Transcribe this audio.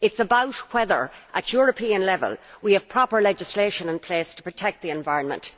It is about whether, at European level, we have proper legislation in place to protect the environment.